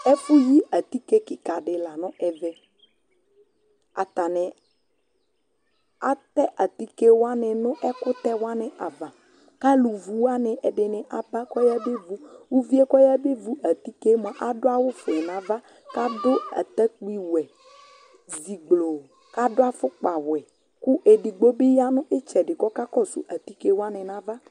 ɛfωƴi ɑtikɛ kikɑɗi lɑŋutɛ ɑtɑɲi ɑtɛ ɑtikɛwɑŋi nɛkωtɛwɑŋiɑvɑ ɑlωvuwɑni ɛɖini ɛɖiŋiyɑ bɑkɑ kɔyɑbɛvω ωviɛ kɔyɑbɛvω ɑtikɛmωɑ ɑɖωɑwω véŋɑvɑ kɑɖω ɑtɑkpiwωɛ kɑɖuɑfωkpɑ wωɛ kω ɛɗigbobi yɑɲitsɛɖi kɔkósu ɑtikɛ wɑɲiɲɑvɑ